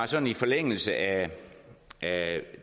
sådan i forlængelse af